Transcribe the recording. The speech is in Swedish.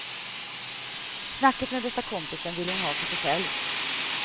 Snacket med bästa kompisen ville hon ha för sig själv.